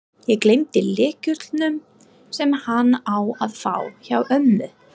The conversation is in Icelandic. Ég gleymdi lyklunum, sem hann á að fá, hjá ömmu.